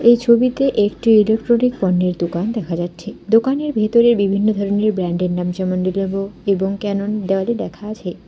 এই ছবিতে একটি ইলেকট্রনিক পণ্যের দোকান দেখা যাচ্ছে দোকানের ভেতরে বিভিন্ন ধরনের ব্র্যান্ডের নাম যেমন লেনোভো এবং ক্যানন দেওয়ালে লেখা আছে।